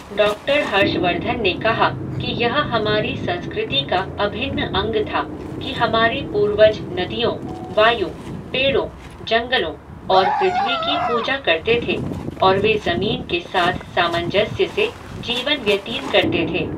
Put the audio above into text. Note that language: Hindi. डॉक्टर हर्षवर्धन ने कहा कि यह हमारी संस्कृति का अभिन्न अंग था कि हमारे पूर्वज नदियों, वायु, पेड़ों, जंगलों और पृथ्वी की पूजा करते थे और वे ज़मीन के साथ सामंजस्य से जीवन व्यतीत करते थे।